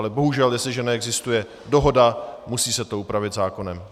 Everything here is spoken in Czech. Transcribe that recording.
Ale bohužel, jestliže neexistuje dohoda, musí se to upravit zákonem.